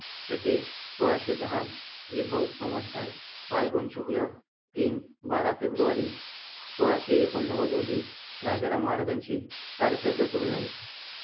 शके सोळाशे दहा विभव संवस्तर फाल्गुन शुक्ल तीन बारा फेब्रुवारी सोळाशे एकोण्णवद रोजी राजाराम महाराजांची कारकीर्द सुरु झाली.